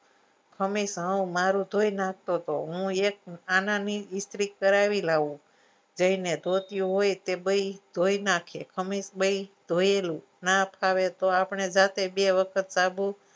હમેશા હું મારું ધોઈ નાખતો તો હું એક આનાની ઈસ્ત્રી કરાવી લાવું જઈને ધોતી હોય તે ભઈ ધોઈ નાખે ખમીસ ભી ધોયેલું આપને બે વખત જાતે સાબુ